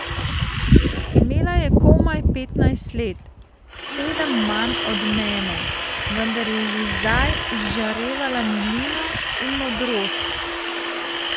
Imela je komaj petnajst let, sedem manj od mene, vendar je že zdaj izžarevala milino in modrost.